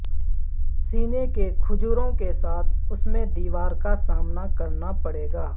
سینے کے کھجوروں کے ساتھ اس میں دیوار کا سامنا کرنا پڑے گا